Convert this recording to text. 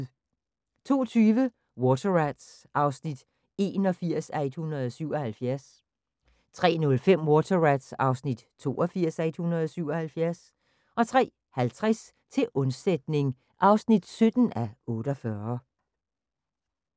02:20: Water Rats (81:177) 03:05: Water Rats (82:177) 03:50: Til undsætning (17:48)